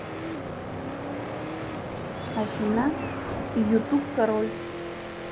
афина ютуб король